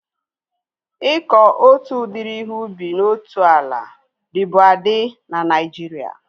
Ịkọ otu udiri ihe ubi na otu ala dịbu adị na Naijiria